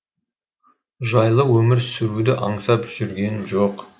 жайлы өмір сүруді аңсап жүргемін жоқ